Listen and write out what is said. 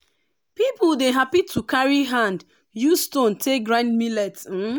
people dey happy to carry hand use stone take grind millet um